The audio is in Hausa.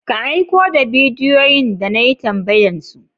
Ka aiko da bidiyoyin da na yi tambayan su?